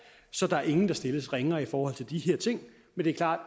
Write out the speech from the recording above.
så der er ingen der stilles ringere i forhold til de her ting men det er klart